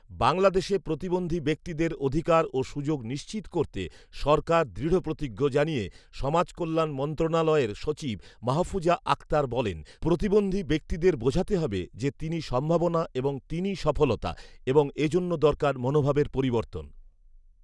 বাংলাদেশে প্রতিবন্ধী ব্যক্তিদের অধিকার ও সুযোগ নিশ্চিত করতে সরকার দৃঢ়প্রতিজ্ঞ জানিয়ে সমাজকল্যাণ মন্ত্রণালয়ের সচিব মাহফুজা আক্তার বলেন, ‘প্রতিবন্ধী ব্যক্তিদের বোঝাতে হবে যে তিনি সম্ভাবনা এবং তিনিই সফলতা এবং এ জন্য দরকার মনোভাবের পরিবর্তন